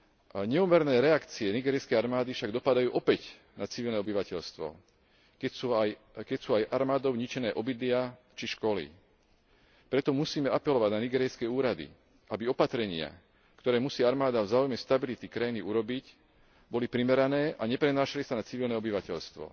A neúmerné reakcie nigérijskej armády však dopadajú opäť na civilné obyvateľstvo, keď sú aj armádou ničené obydlia či školy. Preto musíme apelovať na nigérijské úrady, aby opatrenia, ktoré musí armáda v záujme stability krajiny urobiť, boli primerané a neprenášali sa na civilné obyvateľstvo.